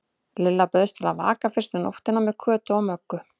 Lilla bauðst til að vaka fyrstu nóttina með Kötu og Möggu.